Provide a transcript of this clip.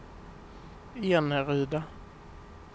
Eneryda